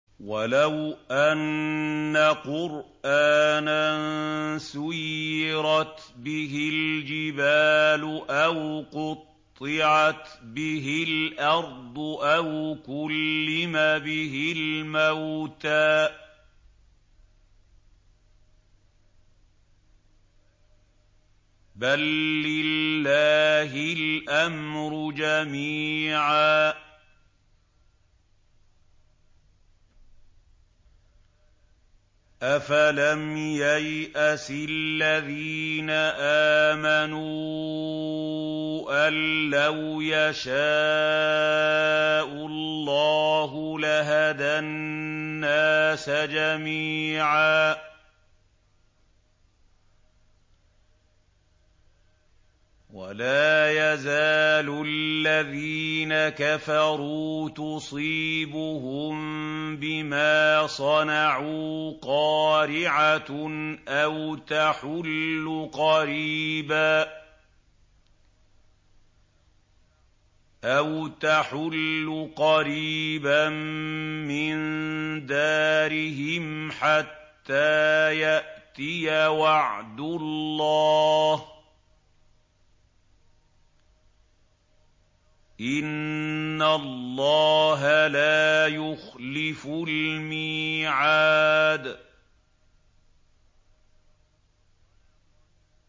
وَلَوْ أَنَّ قُرْآنًا سُيِّرَتْ بِهِ الْجِبَالُ أَوْ قُطِّعَتْ بِهِ الْأَرْضُ أَوْ كُلِّمَ بِهِ الْمَوْتَىٰ ۗ بَل لِّلَّهِ الْأَمْرُ جَمِيعًا ۗ أَفَلَمْ يَيْأَسِ الَّذِينَ آمَنُوا أَن لَّوْ يَشَاءُ اللَّهُ لَهَدَى النَّاسَ جَمِيعًا ۗ وَلَا يَزَالُ الَّذِينَ كَفَرُوا تُصِيبُهُم بِمَا صَنَعُوا قَارِعَةٌ أَوْ تَحُلُّ قَرِيبًا مِّن دَارِهِمْ حَتَّىٰ يَأْتِيَ وَعْدُ اللَّهِ ۚ إِنَّ اللَّهَ لَا يُخْلِفُ الْمِيعَادَ